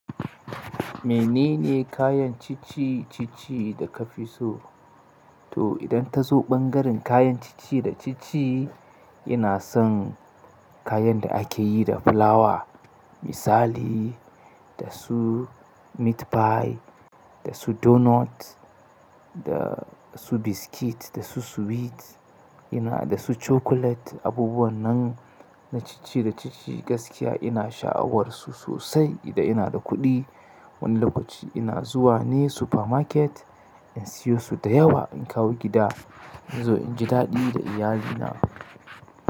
Menene kayan ci ci-ci da ka fi so? To idan ta zo ɓangaren kayan ci-ci da ci-ci, ina son kayan da ake yi da fulawa. Misali da su meat pie, da su donut, da su biscuit, da su sweet, ina da su chocolate. Abubuwan nan na ci-ci da ci-ci gaskiya ina sha'awarsu sosai. Idan ina da kuɗi wani lokaci ina zuwa ne super market in siyo su da yawa in kawo gida. In zo inji daɗi da iyalina.